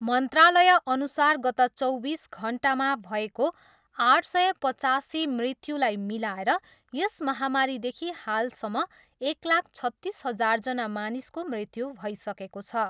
मन्त्रालयअनुसार गत चौबिस घन्टामा भएको आठ सय पचासी मृत्युजाई मिलाएर यस महामारीदेखि हालसम्म एक लाख छत्तिस हजारजना मानिसको मृत्यु भइसकेको छ।